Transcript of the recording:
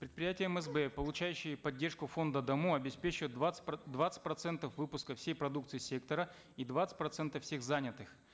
предприятия мсб получающие поддержку фонда даму обеспечивают двадцать двадцать процентов выпуска всей продукции сектора и двадцать процентов всех занятых